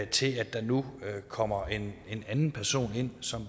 til at der nu kommer en anden person ind som